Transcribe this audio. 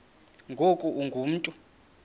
ngoku ungu mntu